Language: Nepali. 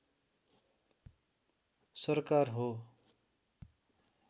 सरकार हो